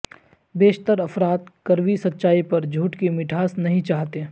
بیشتر افراد کڑوی سچائی پر جھوٹ کی مٹھاس نہیں چاہتے